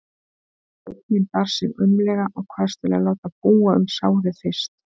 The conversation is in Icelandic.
Sveinninn bar sig aumlega og kvaðst vilja láta búa um sárið fyrst.